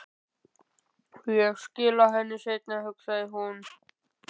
Ég skila henni seinna, hugsaði hún.